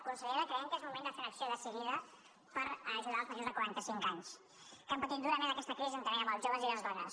consellera creiem que és moment de fer una acció decidida per ajudar els majors de quaranta cinc anys que han patit durament aquesta crisi juntament amb els joves i les dones